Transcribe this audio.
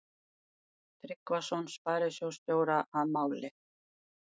Tryggvason sparisjóðsstjóra að máli.